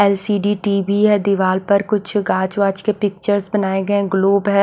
L_ C D TV है दीवार पर कुछ गाज वाच के पिक्चर्स बनाए गए हैं ग्लोब है।